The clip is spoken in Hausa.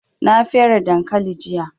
Na fere dankali jiya